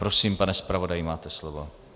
Prosím, pane zpravodaji, máte slovo.